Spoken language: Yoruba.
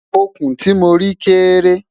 òkun tí mọ rí kéré